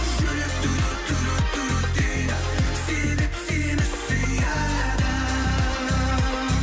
жүрек дейді себеп сені сүйеді